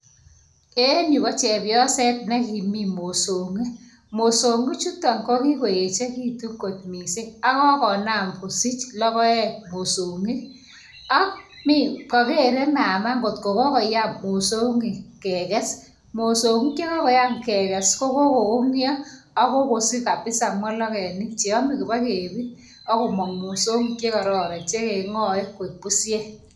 En yu ko chepyoset nikimin mosong'ik, mosong'ik chutan kokiechekitun kotmising ako kokonam kosich lokoek mosong'ik, ak kakere mama kotko kokoyam mosongik kekes, mosong'ik chokokoyam kekes ko kokonyo ak kokosich kabisa molokenik cheyame kibakebir ako mang mosong'ik chekararn chekeng'ae koik pushek.